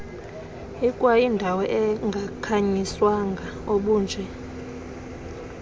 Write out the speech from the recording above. ikwayindawo engakhanyiswanga obunje